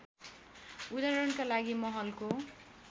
उदाहरणका लागि महलको